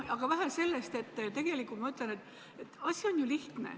Aga vähe sellest, tegelikult ma ütlen, et asi on lihtne.